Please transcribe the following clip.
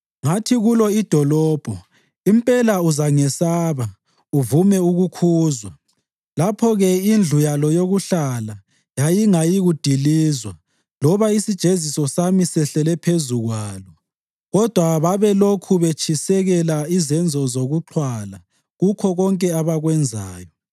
Ngathi kulo idolobho, ‘Impela uzangesaba uvume ukukhuzwa!’ Lapho-ke indlu yalo yokuhlala yayingayikudilizwa loba isijeziso sami sehlele phezu kwalo. Kodwa babelokhu betshisekela izenzo zokuxhwala kukho konke abakwenzayo.